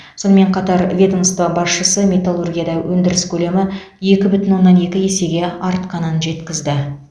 сонымен қатар ведомство басшысы металлургияда өндіріс көлемі екі бүтін оннан екі есеге артқанын жеткізді